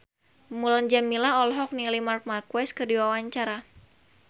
Mulan Jameela olohok ningali Marc Marquez keur diwawancara